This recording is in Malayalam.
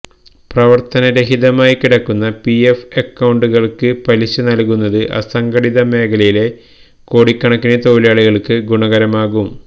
പ്രവര്ത്തനരഹിതമായി കിടക്കുന്ന പിഎഫ് അക്കൌണ്ടുകള്ക്ക് പലിശ നല്കുന്നത് അസംഘടിത മേഖലയിലെ കോടിക്കണക്കിന് തൊഴിലാളികള്ക്ക് ഗുണകരമാകും